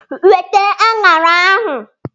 Weta akwa ubi!